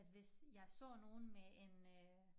At hvis jeg så nogen med en øh